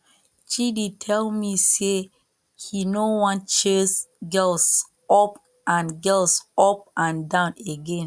chidi tell me say he no wan chase girls up and girls up and down again